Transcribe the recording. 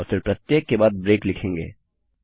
और फिर प्रत्येक के बाद ब्रेक लिखेंगे